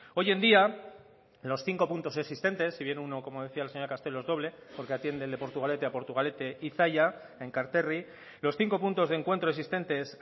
hoy en día los cinco puntos existentes si bien uno como decía la señora castelo es doble porque atiende el de portugalete a portugalete y zalla enkarterri los cinco puntos de encuentro existentes